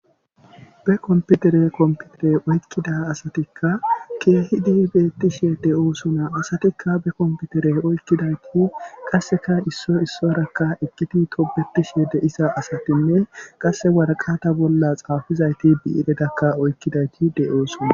Be komputere komputere oykkida asatikka keehidi beettishe de'oosona. asatikka be komputere oykkidayti qasseka isso issorakka eqqiti tobetishe de'iza asatinne qasse warqata bolla xaafizayti bii'iretakka oykkidayti de'oosona.